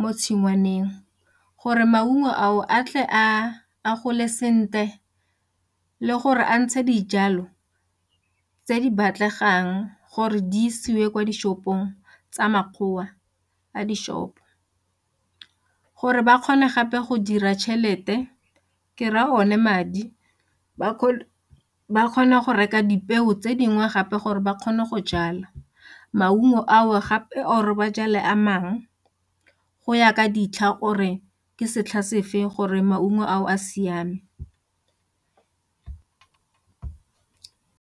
mo tshingwaneng gore maungo ao a tle a gole sentle le gore a ntshe dijalo tse di batlegang gore di isiwe kwa di-shop-ong tsa makgotla a di-shop gore ba kgone gape go dira tšhelete ke raya one madi ba ba kgona go reka dipeo tse dingwe gape gore ba kgone go jala maungo ao gape or-re ba jale a mang go ya ka ditlha or-re ke setlha sefe gore maungo ao a siame.